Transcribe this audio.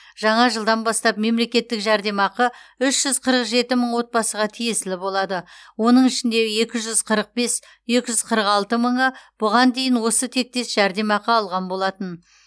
жаңа жылдан бастап мемлекеттік жәрдемақы үш жүз қырық жеті мың отбасыға тиесілі болады оның ішінде екі жүз қырық бес екі жүз қырық алты мыңы бұған дейін осы тектес жәрдемақы алған болатын